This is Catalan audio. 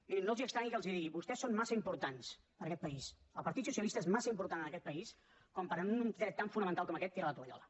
mirin no els estranyi que els ho digui vostès són massa importants per a aquest país el partit socialista és massa important en aquest país per en un dret tan fonamental com aquest tirar la tovallola